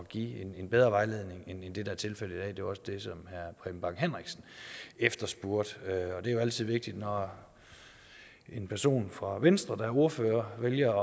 give en bedre vejledning end det der er tilfældet i dag det var også det som herre preben bang henriksen efterspurgte og det er jo altid vigtigt når en person fra venstre der er ordfører vælger